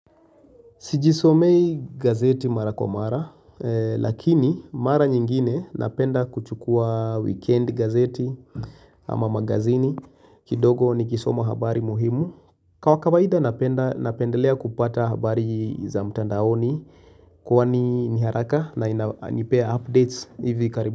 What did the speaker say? Sijisomei gazeti mara kwa mara lakini mara nyingine napenda kuchukua weekend gazeti ama magazini kidogo nikisoma habari muhimu. Kwa kawaida napenda napendelea kupata habari za mtandaoni kuwa ni ni haraka na nipea updates hivi karibu.